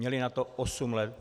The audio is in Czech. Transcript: Měli na to osm let.